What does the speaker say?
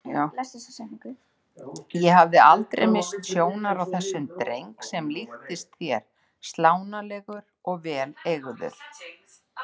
Ég hafði aldrei misst sjónar á þessum dreng sem líktist þér, slánalegur og vel eygður.